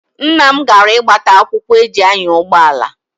Nna m gara ịgbata akwụkwọ eji anya ụgbọala.